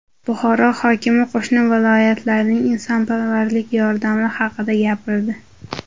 Buxoro hokimi qo‘shni viloyatlarning insonparvarlik yordami haqida gapirdi.